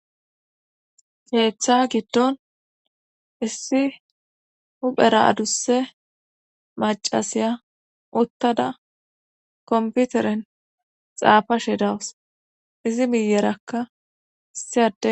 heeththa giddon issi huphera adusse macasiya uttada komputeren xaafashe dawus izi miyerakka issiyade